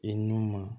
I n'u ma